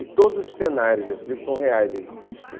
E todos os cenários desse livro são reais, eles existem.